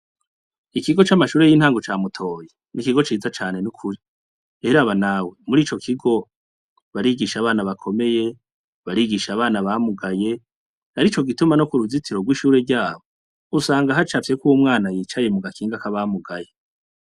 Ikigo c'amashure y'intango ca Mutoyi n'ikigo ciza cane n'ukuri. Ehe eraba nawe, muri ico kigo barigisha abana bakomeye, barigisha abana bamugaye, arico gituma no ku ruzitiro rw'ishure ryabo usanga hacafyeko uwo umwana yicaye mu gakinga k'abamugaye.